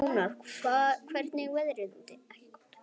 Jónar, hvernig er veðrið úti?